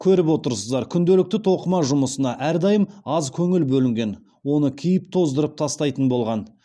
көріп отырсыздар күнделікті тоқыма жұмысына әрдайым аз көңіл бөлінген оны киіп тоздырып тастайтын болған